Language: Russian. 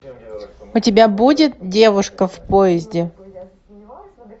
у тебя будет девушка в поезде